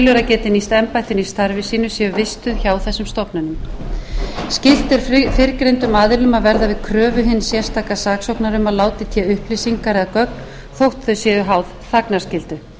telur að geti nýst embættinu í starfi sínu séu vistuð hjá þessum stofnunum skylt er fyrrgreindum aðilum að verða við kröfu hins sérstaka saksóknara um að láta í té upplýsingar eða gögn þótt þau séu háð þagnarskyldu